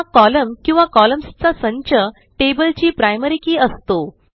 हा कोलम्न किंवा कॉलम्न्स चा संच टेबलची प्रायमरी keyअसतो